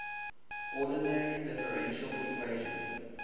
ordinary differential equation